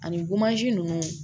Ani ninnu